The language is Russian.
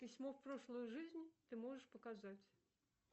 письмо в прошлую жизнь ты можешь показать